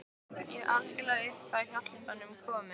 Ég var algjörlega upp á hjálpina komin.